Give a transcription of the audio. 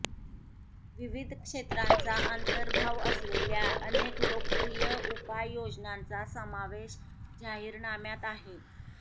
विविध क्षेत्रांचा अंतर्भाव असलेल्या अनेक लोकप्रिय उपाययोजनांचा समावेश जाहीरनाम्यात आहे